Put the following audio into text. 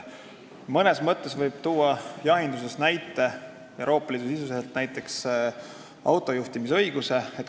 Mõnes mõttes võib Euroopa Liidust tuua näiteks autojuhtimisõiguse.